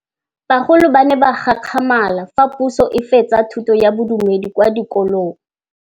Bagolo ba ne ba gakgamala fa Pusô e fedisa thutô ya Bodumedi kwa dikolong.